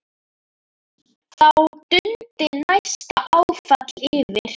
Þá dundi næsta áfall yfir.